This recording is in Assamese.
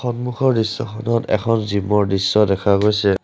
সন্মুখৰ দৃশ্যখনত এখন জিম ৰ দৃশ্য দেখা গৈছে।